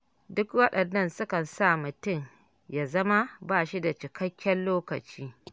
Duk waɗannan sukan sa mutum ya zama ba shi da cikakken lokaci.